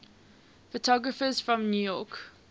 photographers from new york